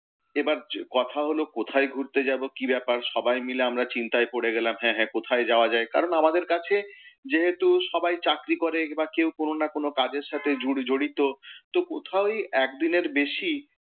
এবার কথা হলো কোথায় ঘুরতে যাব কি ব্যাপার সবাই মিলে আমরা চিন্তায় পড়ে গেলাম। কারণ আমাদের কাছে যেহেতু সবাই চাকরি করে বা কেউ কোন না কোন কাজের সাথে জড়িত তো কোথাওই এক দিনের বেশী,